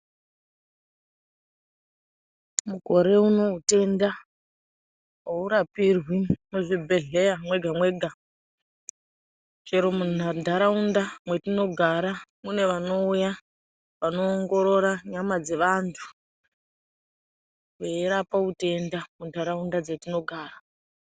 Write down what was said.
Mukore unou utenda aurapirwi muzvibhedhlera mwega-mwega chero muntaraunda mwetinogara mune vanouya vanoongorora nyama dzevantu veirapa utenda muntaraunda dzetinogara.